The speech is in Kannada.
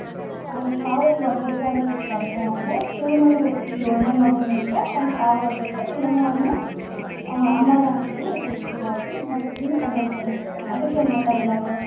ಅವನ್ಗ ಸಾವು ಬರಬೇಕ ಅಂತಿತಂದ್ರ ಅವಂಗ ಶಿವನಲಿಂದ ಹುಟ್ಟಿದ ಯೋಳನೇ ಮಗಳ ನಿಂತ್ರ ಅವಂಗ ಸಾವು ಬರಬೇಕು, ಇಲ್ಲಂದ್ರ ಅವಂಗ, ಅವನು ಅಮರ ಅಂತ ಹೇಳಿ ಇರ್ತೆತಿ ಹಿಂಗಾಗಿ ಬ್ರಹ್ಮನಿಂದ ಪಡೆದಿರ್ತಾನ, ಅದಕ್ಕ ಏನ್ ಮಾಡ್ತಾರ ಎಲ್ಲಾರೂ.